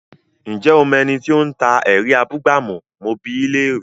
Ǹjẹ́ o mọ ẹni tí ó ń ta “ẹ̀rí abúgbàmù? mo bi í léèrè?